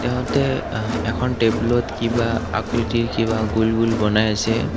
ইহঁতে এখন টেবুলত কিবা আকৃতিৰ কিবা গুল গুল বনাই আছে।